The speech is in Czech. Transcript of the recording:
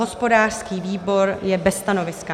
Hospodářský výbor je bez stanoviska.